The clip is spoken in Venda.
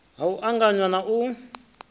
ha u anganya na u